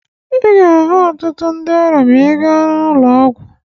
Ị ga-ahụ ọtụtụ ndị ọrịa ma ị ga n'ụlọ ọgwụ.